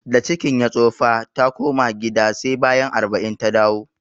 Da cikin ya tsofa, ta koma gida sai bayan arba'in ta dawo